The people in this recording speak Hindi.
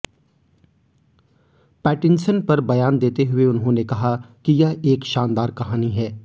पैटिनसन पर बयान देते हुए उन्होंने कहा कि यह एक शानदार कहानी है